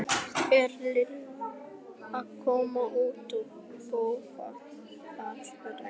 Er Lilla ekki að koma út í bófahasar? spurði hún.